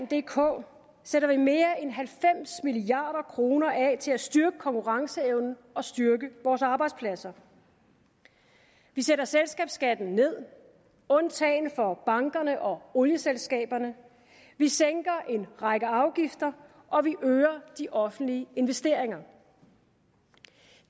dk sætter vi mere end halvfems milliard kroner af til at styrke konkurrenceevnen og styrke vores arbejdspladser vi sætter selskabsskatten ned undtagen for bankerne og olieselskaberne vi sænker en række afgifter og vi øger de offentlige investeringer